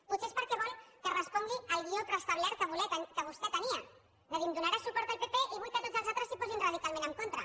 potser és perquè vol que respongui al guió preestablert que vostè tenia és a dir em donarà suport el pp i vull que tots els altres s’hi posin radicalment en contra